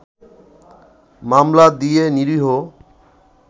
মামলা দিয়ে নিরীহ